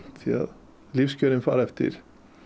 því lífskjör fara eftir